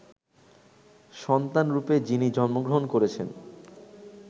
সন্তানরূপে যিনি জন্মগ্রহণ করেছেন